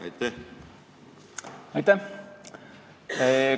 Aitäh!